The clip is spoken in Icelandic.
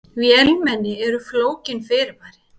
Vélmenni eru flókin fyrirbæri.